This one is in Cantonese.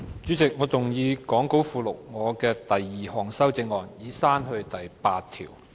主席，我動議講稿附錄我的第二項修正案，以刪去第8條。